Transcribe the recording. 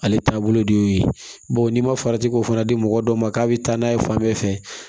Ale taabolo de y'o ye bawo n'i ma farati k'o fana di mɔgɔ dɔw ma k'a bɛ taa n'a ye fan bɛɛ fɛ